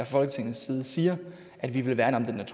folketingets side siger at vi vil værne